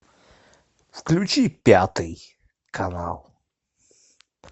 включи пятый канал